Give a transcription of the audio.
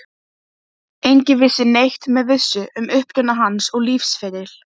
Úr fatahenginu í forstofunni heyrðist dauf símhringing.